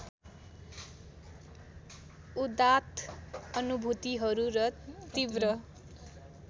उदात्त अनुभूतिहरू र तीव्र